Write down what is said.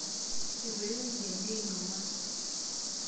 Etoiwuo endia indien ongwan.